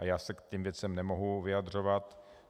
A já se k těmto věcem nemohu vyjadřovat.